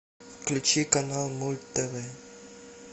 включи канал мульт тв